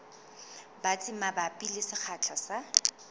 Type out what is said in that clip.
batsi mabapi le sekgahla sa